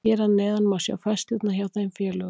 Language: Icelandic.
Hér að neðan má sjá færslurnar hjá þeim félögum.